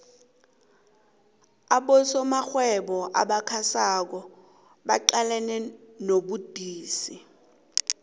abosomarhwebo abasakhasako baqalene nobudisi